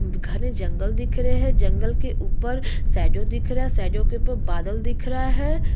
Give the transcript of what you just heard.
घने जंगल दिख रहें हैं जंगल के ऊपर शैडो दिख रहा है शैडो के ऊपर बादल दिख रहा है ।